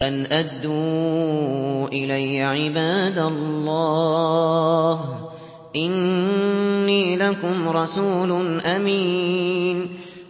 أَنْ أَدُّوا إِلَيَّ عِبَادَ اللَّهِ ۖ إِنِّي لَكُمْ رَسُولٌ أَمِينٌ